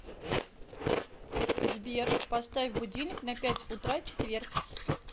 сбер поставь будильник на пять утра четверг